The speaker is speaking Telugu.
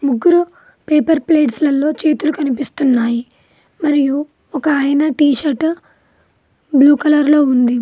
ముగ్గురు పేపర్ ప్లేట్స్ లలో చేతులు కనిపిస్తున్నాయి మరియు ఒకాయన టీ షర్టు బ్లూ కలర్ లో ఉంది.